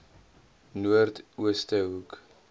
noord ooste hoek